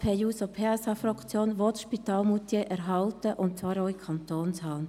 Die SP-JUSO-PSA-Fraktion will das Spital in Moutier erhalten und zwar in Kantonshand.